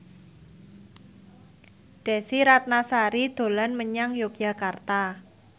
Desy Ratnasari dolan menyang Yogyakarta